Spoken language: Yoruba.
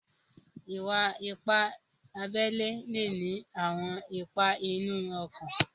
Ìwà-ìpà àbèlè le ní àwọn ìpà inú ọ̀kàn.